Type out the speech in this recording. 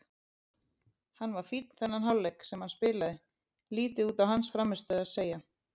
Hann var fínn þennan hálfleik sem hann spilaði, lítið út á hans frammistöðu að segja.